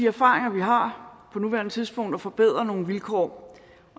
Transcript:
erfaringer vi har på nuværende tidspunkt og forbedre nogle vilkår